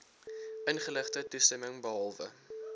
ingeligte toestemming behalwe